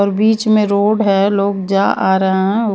और बीच में रोड है लोग जा आ रहे हैं औ --